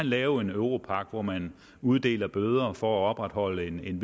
lave en europagt hvor man uddeler bøder for at opretholde en